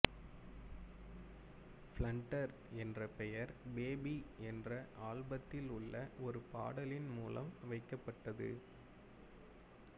blunder என்ற பெயர் baby என்ற ஆல்பத்திலுள்ள ஒரு பாடலின் மூலம் வைக்கப்பட்டது